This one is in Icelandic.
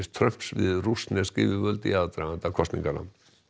Trumps við rússnesk yfirvöld í aðdraganda kosninganna